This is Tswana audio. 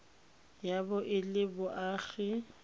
ya bo e le moagi